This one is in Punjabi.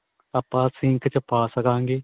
ਆਪਾਂ ਸੀਂਖ ਚ ਪਾ ਸਕਾਗੇ.